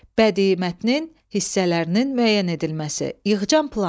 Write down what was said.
Bədii mətnin hissələrinin müəyyən edilməsi, yığcam plan.